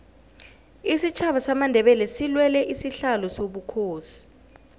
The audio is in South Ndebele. isitjhaba samandebele silwela isihlalo sobukhosi